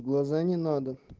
глаза не надо